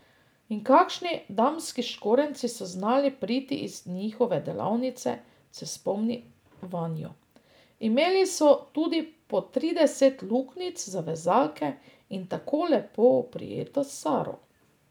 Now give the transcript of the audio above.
In kakšni damski škorenjci so znali priti iz njihove delavnice, se spomni Vanjo: 'Imeli so tudi po trideset luknjic za vezalke in tako lepo oprijeto 'saro'.